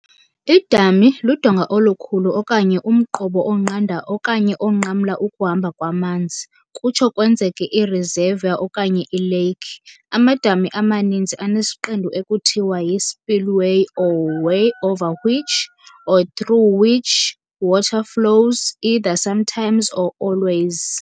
Idami ludonga olukhulu okanye umqobo onqanda okanye onqamla ukuhamba kwamanzi, kutsho kwenzeke ireservoir okanye i-lake. Amadami amaninzi anesiqendu ekuthiwa yi-spillway or weir over which, or through which, water flows, either sometimes or always.